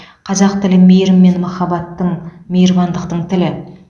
қазақ тілі мейірім мен махаббаттың мейірбандықтың тілі